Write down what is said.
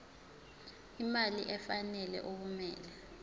imali efanele okumele